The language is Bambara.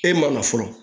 E ma na fɔlɔ